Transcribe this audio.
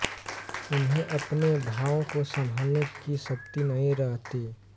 उन्हें अपने भावों को सँभालने की शक्ति नहीं रहती